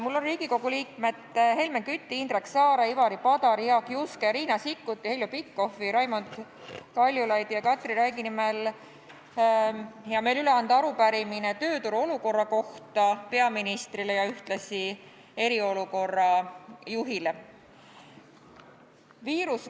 Mul on hea meel Riigikogu liikmete Helmen Küti, Indrek Saare, Ivari Padari, Jaak Juske, Riina Sikkuti, Heljo Pikhofi, Raimond Kaljulaidi ja Katri Raigi nimel anda peaministrile ja ühtlasi eriolukorra juhile üle arupärimine tööturu olukorra kohta.